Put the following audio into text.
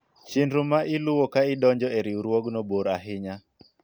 chenro ma iluwo ka idonjo e riwruogno bor ahinya